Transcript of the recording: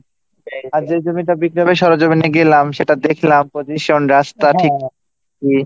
আর যেই জমিটা বিক্রি হবে সেটার সরজমিনে গেলাম সেটা দেখলাম position, রাস্তা ঠিকঠাক নিয়ে